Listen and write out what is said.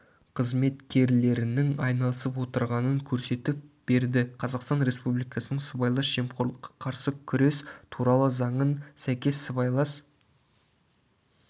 қызметкерлерінің айналысып отырғанын көресетіп берді қазақстан республикасының сыбайлас жемқорлыққа қарсы күрес туралы заңын сәйкес сыбайлас